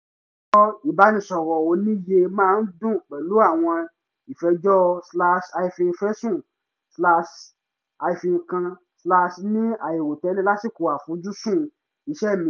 rọ ìbánisọ̀rọ̀ ò ní yé máa dún pẹ̀lú àwọn ìfẹjọ́ slash hyphen fẹ̀sùn slash hyphen kan slash ni àìrò tẹ́lẹ̀ lásìkò àfojúsùn iṣẹ́ mi